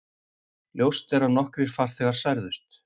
Ljóst er að nokkrir farþegar særðust